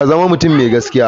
Ka zama mutum mai gaskiya.